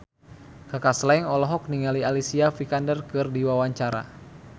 Kaka Slank olohok ningali Alicia Vikander keur diwawancara